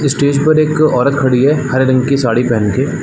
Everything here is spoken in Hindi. इस स्टेज पर एक औरत खड़ी है हरे रंग की साड़ी पहन के --